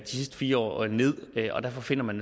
sidste fire år ned og derfor finder man